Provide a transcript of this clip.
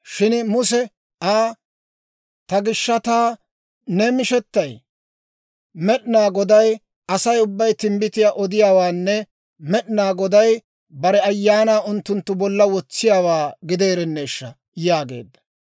Shin Muse Aa, «Ta gishshataa ne mishettay? Med'inaa Godaa Asay ubbay timbbitiyaa odiyaawaanne Med'inaa Goday bare Ayaanaa unttunttu bolla wotsiyaawaa gideerenneeshsha!» yaageedda.